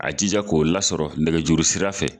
A jija k'o lasɔrɔ nɛgɛjuru sira fɛ